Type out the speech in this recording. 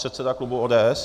Předseda klubu ODS.